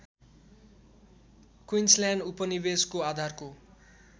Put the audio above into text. Queensland उपनिवेशको आधारको